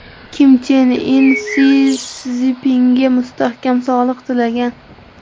Kim Chen In Si Szinpinga mustahkam sog‘liq tilagan.